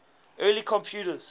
early computers